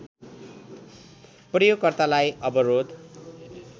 प्रयोगकर्तालाई अवरोध